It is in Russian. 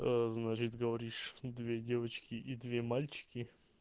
значит говоришь две девочки и две мальчики